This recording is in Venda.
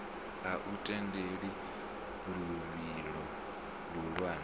a u tendeli luvhilo luhulwane